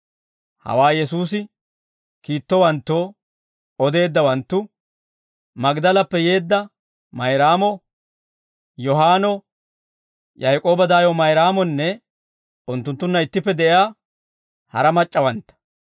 Hawaa Yesuusi kiittowanttoo odeeddawanttu: Magdalappe yeedda Mayraamo, Yohaanno, Yaak'ooba daayo Mayraamonne unttunttunna ittippe de'iyaa hara Mac'c'awantta.